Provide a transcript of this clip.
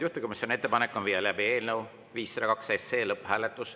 Juhtivkomisjoni ettepanek on viia läbi eelnõu 502 lõpphääletus.